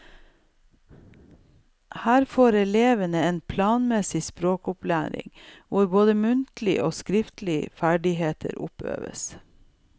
Her får elevene en planmessig språkopplæring hvor både muntlige og skriftlige ferdigheter oppøves.